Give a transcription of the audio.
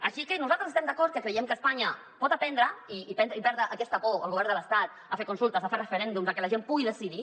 així que nosaltres estem d’acord que creiem que espanya pot aprendre i perdre aquesta por el govern de l’estat a fer consultes a fer referèndums a que la gent pugui decidir